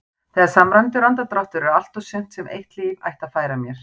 Þegar samræmdur andardráttur er allt og sumt sem eitt líf ætti að færa mér.